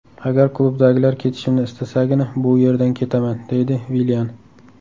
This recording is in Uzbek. Agar klubdagilar ketishimni istasagina bu yerdan ketaman”,deydi Villian.